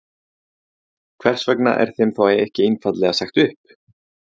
Heimir Már: Hvers vegna er þeim þá ekki einfaldlega sagt upp?